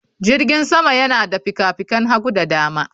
Jirgin sama yana da fikafikan hagu da dama